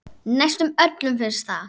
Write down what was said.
Næstum öllum finnst það.